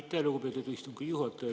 Aitäh, lugupeetud istungi juhataja!